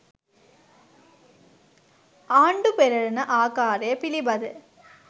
ආණ්‌ඩු පෙරළන ආකාරය පිළිබඳ